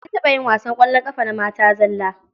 An taɓa yin wasan ƙwallon ƙafa na mata zalla.